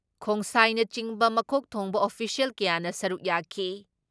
ꯈꯣꯡꯁꯥꯏꯅꯆꯤꯡꯕ ꯃꯀꯣꯛ ꯊꯣꯡꯕ ꯑꯣꯐꯤꯁꯤꯌꯦꯜ ꯀꯌꯥꯅ ꯁꯔꯨꯛ ꯌꯥꯈꯤ ꯫